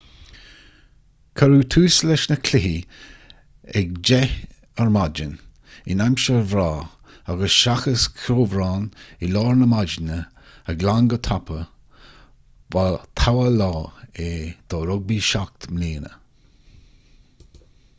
cuireadh tús leis na cluichí ag 10:00 am in aimsir bhreá agus seachas ceobhrán i lár na maidine a ghlan go tapa ba togha lá é do rugbaí 7 mbliana